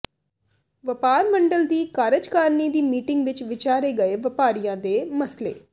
ਵਪਾਰ ਮੰਡਲ ਦੀ ਕਾਰਜਕਾਰਨੀ ਦੀ ਮੀਟਿੰਗ ਵਿੱਚ ਵਿਚਾਰੇ ਗਏ ਵਪਾਰੀਆਂ ਦੇ ਮਸਲੇ